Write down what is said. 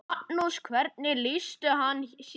Magnús: Hvernig lýsti hann sér?